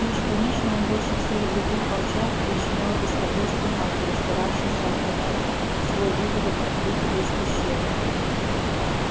и уж конечно он больше всех других волчат причинял беспокойство матери старавшейся отогнать свой выводок от выхода из пещеры